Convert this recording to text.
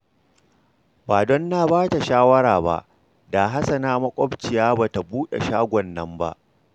Ba don na ba ta shawara ba, da Hassana maƙwabciya ba ta buɗe shagon nan ba